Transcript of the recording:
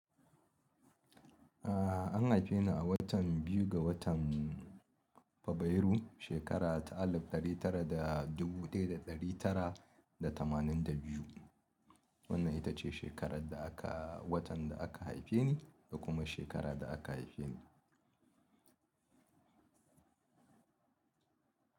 Ah an haife ni a watan biyu ga watan Fabarairu shekara ta alif ɗari tara da dubu ɗaya da ɗari tara da tamanin da biyu. Wannan ita ce shekarar da aka watan da aka haife ni da kuma shekarar da aka haife ni.